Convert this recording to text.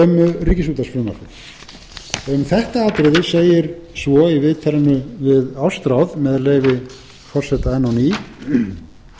ríkisútvarpsfrumvarpið um þetta atriði segir svo í viðtalinu við ástráð með leyfi forseta enn á ný nú er það